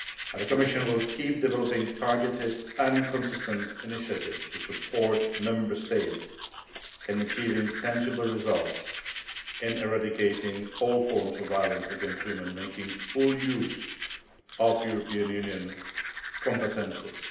The Commission will continue developing targeted and consistent initiatives to support Member States in achieving tangible results in eradicating all forms of violence against women making full use of European Union competences.